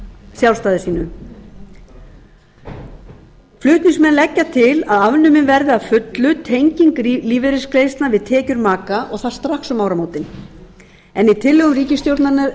sjálfstæði sínu flutningsmenn leggja til að afnumin verði að fullu tenging lífeyrisgreiðslna við tekjur maka og það strax um áramótin en í tillögum ríkisstjórnarinnar